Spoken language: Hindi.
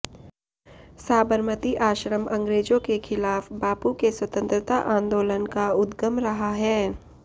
साबरमती आश्रम अंग्रेजों के खिलाफ बापू के स्वतंत्रता आंदोलन का उद्गम रहा है